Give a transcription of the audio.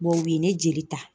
u ye ne jeli ta